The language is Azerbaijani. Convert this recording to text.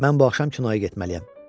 Mən bu axşam kinoya getməliyəm.